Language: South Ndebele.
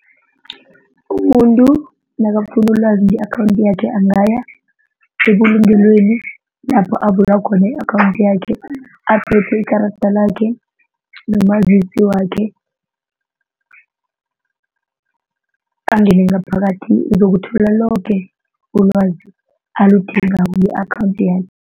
Umuntu nakafuna ulwazi nge-akhawundi yakhe angaya ebulungelweni lapho avula khona i-akhawundi yakhe aphethe ikarada lakhe nomazisi wakhe angene ngaphakathi uzokuthola loke ulwazi aludingayo nge-akhawundi yakhe.